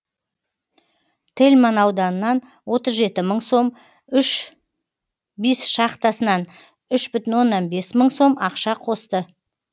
тельман ауданынан отыз жеті мың сом үш бис шахтасынан үш бүтін оннан бес мың сом ақша қосты